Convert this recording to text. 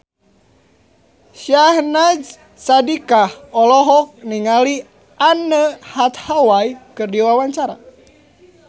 Syahnaz Sadiqah olohok ningali Anne Hathaway keur diwawancara